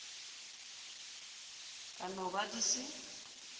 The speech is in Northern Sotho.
ka no ba di se